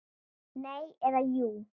Nei. eða jú!